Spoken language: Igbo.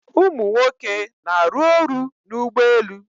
Umunwoke na-aru oru n'ugboelu